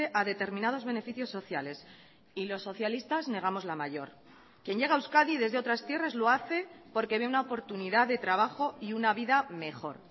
a determinados beneficios sociales y los socialistas negamos la mayor quien llega a euskadi desde otras tierras lo hace porque ve una oportunidad de trabajo y una vida mejor